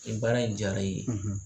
Ni baara in diyara i ye.